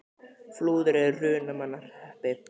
Flúðir er í Hrunamannahreppi.